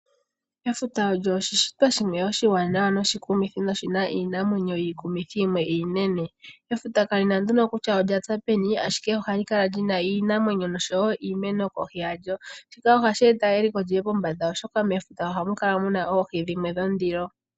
Efuta olyo oshi shitwa shimwe oshaanawa noshikumithi noshina iinamwenyo yikumuthi yo yimwe iinene. Efuta kali na nduno kutya olya za peni ashike ohali kala lina iinamwenyo noshoo woo iimeno kohi yalyo, shika ohashi eta eliko lyiye pombanda oshoka mefuta ohamu kala muna oohi dhimwe dhondilo.